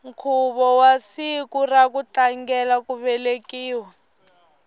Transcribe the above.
nkhuvo wa siku ra ku tlangela ku velekiwa